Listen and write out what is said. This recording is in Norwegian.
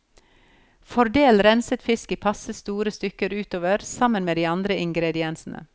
Fordel renset fisk i passe store stykker utover sammen med de andre ingrediensene.